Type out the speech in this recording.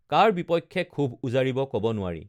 কাৰ বিপক্ষে ক্ষোভ উজাৰিব কব নোৱাৰি